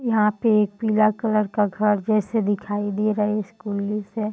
यहाँ पे एक पीला कलर का घर जैसे दिखाई दे रहे स्कूल जैसे --